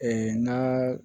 n'a